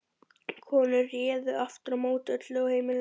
Konurnar réðu aftur á móti öllu á heimilinu.